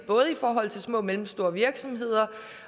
i forhold til små og mellemstore virksomheder